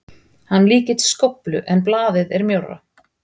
Hann líkist skóflu en blaðið er mjórra.